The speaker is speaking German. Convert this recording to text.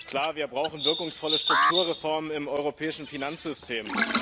Und klar, wir brauchen wirkungsvolle Strukturreformen im europäischen Finanzsystem.